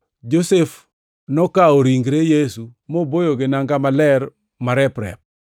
Josef nokawo ringre Yesu moboye gi nanga maler marep-rep,